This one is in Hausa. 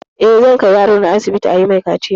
Eh gobe zan kai yarona asibiti ayi mai kaciya